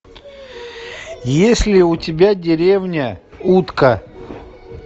есть ли у тебя деревня утка